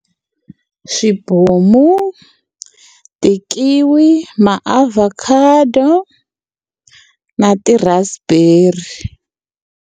Swibomu, ti-kiwi ma-avocado na ti-raspberry.